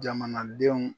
Jamanadenw